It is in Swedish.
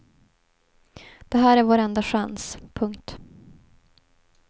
Det här är vår enda chans. punkt